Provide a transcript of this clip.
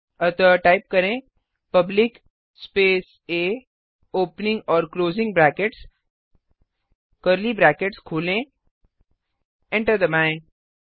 अतः टाइप करेंpublic आ ओपनिंग और क्लोजिंग ब्रैकेट्स कर्ली ब्रैकेट्स खोलें एंटर दबाएँ